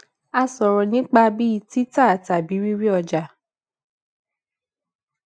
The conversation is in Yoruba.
a sòrò nípa bí tita tabi riri oja